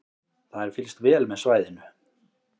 Það er fylgst vel með svæðinu